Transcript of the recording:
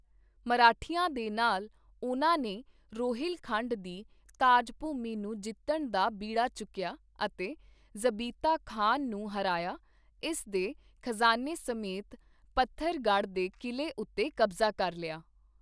ਮਰਾਠਿਆਂ ਦੇ ਨਾਲ, ਉਨ੍ਹਾਂ ਨੇ ਰੋਹਿਲ ਖੰਡ ਦੀ ਤਾਜ ਭੂਮੀ ਨੂੰ ਜਿੱਤਣ ਦਾ ਬੀੜਾ ਚੁੱਕੀਆ ਅਤੇ ਜ਼ਬੀਤਾ ਖਾਨ ਨੂੰ ਹਰਾਇਆ, ਇਸ ਦੇ ਖਜ਼ਾਨੇ ਸਮੇਤ ਪੱਥਰਗੜ੍ਹ ਦੇ ਕਿਲੇ ਉੱਤੇ ਕਬਜ਼ਾ ਕਰ ਲਿਆ।